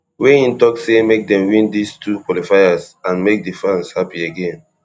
wey im tok say make dem win dis two qualifiers and make di fans happy again